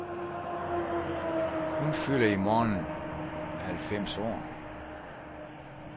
Hun fylder i morgen halvfems år.